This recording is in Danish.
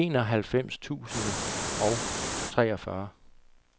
enoghalvfems tusind og treogfyrre